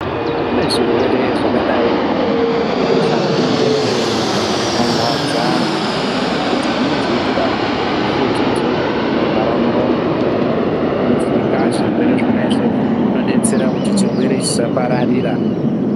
Kune zvirwere zvakadai ngebesha mupengo zvinorwadza andu zvekuti zvinenge zveitoda fukidzo inovhara muromo inovhika zvirwere izvozvi inodetsera kuti chirwere chisapararira.